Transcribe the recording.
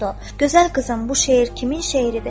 "Gözəl qızım, bu şeir kimin şeiridir?"